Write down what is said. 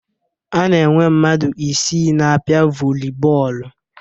A na-enwe mmadụ isii na-apịa vọli bọọlụ